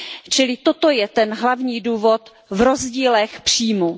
Čili toto je ten hlavní důvod v rozdílech příjmů.